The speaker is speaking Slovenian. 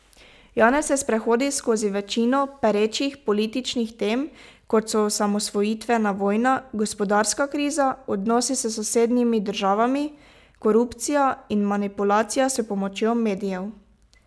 Janez se sprehodi skozi večino perečih političnih tem, kot so osamosvojitvena vojna, gospodarska kriza, odnosi s sosednjimi državami, korupcija in manipulacija s pomočjo medijev.